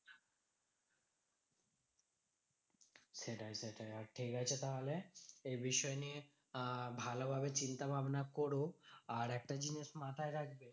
সেটাই সেটাই আর ঠিকাছে তাহলে এই বিষয় নিয়ে আহ ভালো ভাবে চিন্তাভাবনা করো। আর একটা জিনিস মাথায় রাখবে,